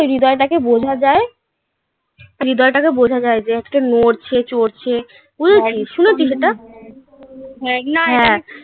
হৃদয়টাকে বোঝা যায়. হৃদয়টাকে বোঝা যায় যে আজকে নরছে চরছে. বুঝেছিস? শুনেছিস এটা? হ্যাঁ না. হ্যাঁ.